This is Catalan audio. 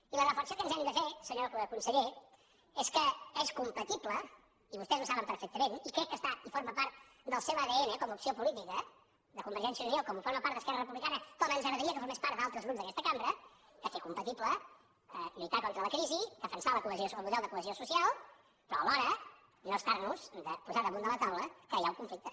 i la reflexió que ens hem de fer senyor conseller és que és compatible i vostès ho saben perfectament i crec que està i forma part del seu adn com a opció política de convergència i unió com forma part d’esquerra republicana com ens agradaria que formés part d’altres grups d’aquesta cambra de fer compatible lluitar contra la crisi defensar el model de cohesió social però alhora no estar nos de posar damunt de la taula que hi ha un conflicte